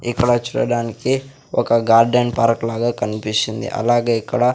ఇక్కడ చూడడానికి ఒక గార్డెన్ పార్క్ లాగా కన్పిస్తుంది అలాగే ఇక్కడ--